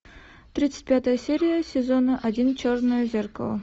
тридцать пятая серия сезона один черное зеркало